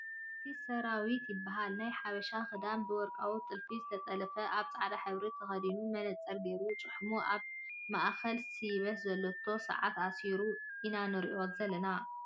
ኣርቲስት ሰራዊት ይበሃል ናይ ሓበሻ ክዳን ብወርቃማ ጥልፊ ዝተጠለፈ ኣብ ፃዕዳ ሕብሪ ተከዲኑ መነፅር ጌሩ ጭሽሙ ኣብ ማእከል ስይበት ዘሎቶ ሰዓቱ ኣሲሩ ኢና ንሪኦ ዘለና ።